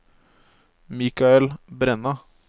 Michael Brenna